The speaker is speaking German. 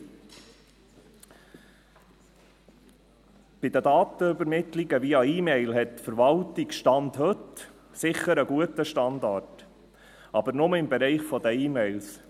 : Bei den Datenübermittlungen via E-Mail hat die Verwaltung, Stand heute, sicher einen guten Standard, aber nur im Bereich der E-Mails.